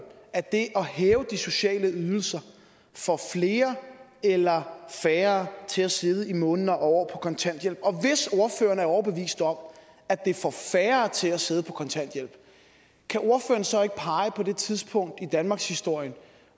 at det at hæve de sociale ydelser får flere eller færre til at sidde i måneder og år kontanthjælp og hvis ordføreren er overbevist om at det får færre til at sidde på kontanthjælp kan ordføreren så ikke pege på det tidspunkt i danmarkshistorien